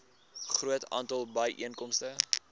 groot aantal byeenkomste